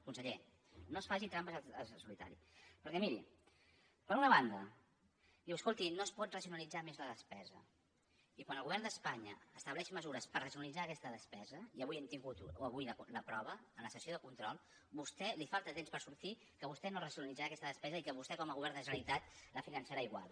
conseller no es faci trampes al solitari perquè miri per una banda diu escolti no es pot racionalitzar més la despesa i quan el govern d’espanya estableix mesures per racionalitzar aquesta despesa i avui n’hem tingut la prova en la sessió de control a vostè li falta temps per sortir i dir que vostè no racionalitzarà aquesta despesa i que vostè com a govern de la generalitat la finançarà igual